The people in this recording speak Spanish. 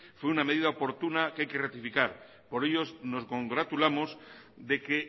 fue una medida oportuna que hay que rectificar por ello nos congratulamos de que